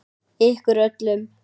Ykkur öllum!